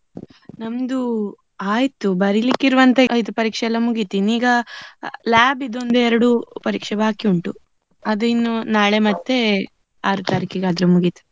ನಮ್ದು ಆಯ್ತು ಬರಿಲಿಕ್ಕೆ ಇರುವಂತ ಪರೀಕ್ಷೆ ಎಲ್ಲಾ ಮುಗೀತು. ಇನ್ ಈಗ lab ಇದು ಒಂದು ಎರಡು ಪರೀಕ್ಷೆ ಬಾಕಿ ಉಂಟು. ಅದು ಇನ್ನು ನಾಳೆ ಮತ್ತೆ ಆರು ತಾರೀಕಿಗೆ ಆದ್ರೆ ಮುಗಿತದೆ.